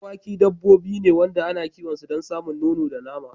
Awaki dabbobi ne waɗanda ana kiwon su don samun nono da nama.